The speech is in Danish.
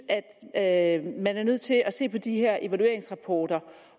at man er nødt til at se på de her evalueringsrapporter